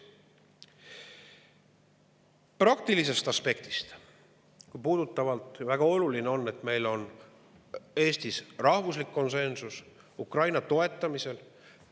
Praktilisest aspektist on väga oluline, et meil on Eestis rahvuslik konsensus Ukraina toetamisel.